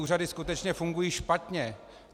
Úřady skutečně fungují špatně.